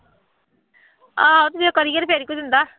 ਆਹੋ ਜੇ ਕਰੀਏ ਫੇਰ ਕੋਈ ਦਿੰਦਾ